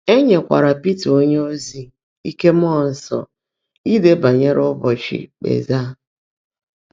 É nyékwaárá Pị́tà ónyéozi íke mmụọ́ nsọ́ ídé bányèré ụ́bọ́chị́ íkpèzáá.